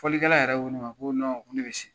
Fɔlikɛla yɛrɛ ko ne ma ko ko ne be se.